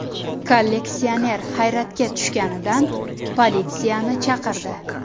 Kolleksioner hayratga tushganidan politsiyani chaqirdi.